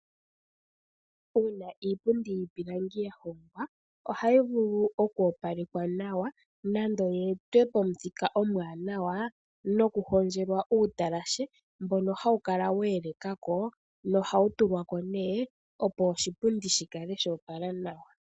Uuna iipundi yiipilangi ya hongwa, ohayi vulu oku opalekwa nawa nenge yi etwe pomuthika omuwanawa nokuhondjelwa uutalashe mbono hawu kala wa elekwa ko no ha wu tulwako nee opo oshipundi shi kale sha opala nawa.